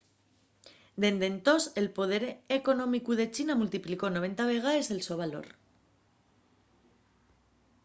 dende entós el poder económicu de china multiplicó 90 vegaes el so valor